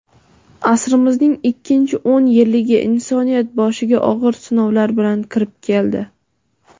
Asrimizning ikkinchi o‘n yilligi insoniyat boshiga og‘ir sinovlar bilan kirib keldi.